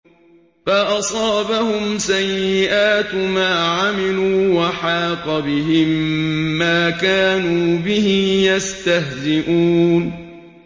فَأَصَابَهُمْ سَيِّئَاتُ مَا عَمِلُوا وَحَاقَ بِهِم مَّا كَانُوا بِهِ يَسْتَهْزِئُونَ